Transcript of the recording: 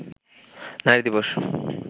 নারী দিবস